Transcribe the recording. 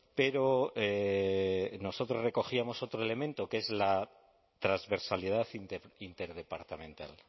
pero nosotros recogíamos otro elemento que es la transversalidad interdepartamental